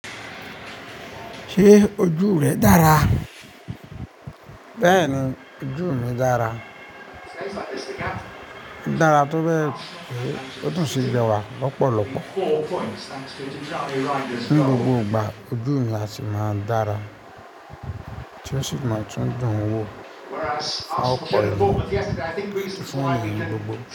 Ṣé ojú rẹ dára? Bẹ́ẹ̀ni, ojú mi dára. Ó dára tó bẹ́ẹ̀ pé ó tùn sí rẹwà pọ̀ lọ́pọ̀lọ́pọ̀. Ní gbogbo ìgbà ojú mi a sì máa dára. Chelsea máa tún dùn wo àwọn ọkọ̀ ẹ nípa fún wọn ní gbogbo.